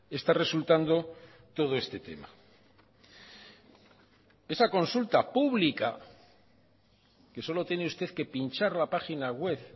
está resultando todo este tema esa consulta pública que solo tiene usted que pinchar la página web